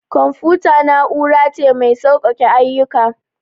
Confuta na'ura ce mai sauƙake ayyuka.